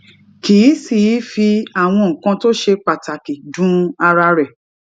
kì í sì í fi àwọn nǹkan tó ṣe pàtàkì dun ara rè